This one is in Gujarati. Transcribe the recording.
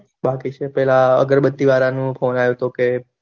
બાકી છે પેલા અગરબત્તીવાળાનું ફોન આવ્યો તો કે